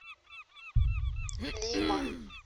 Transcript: лима